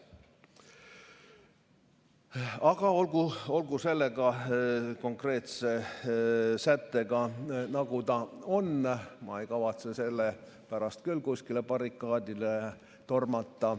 Aga olgu selle konkreetse sättega, nagu ta on, ma ei kavatse selle pärast küll kuskile barrikaadidele tormata.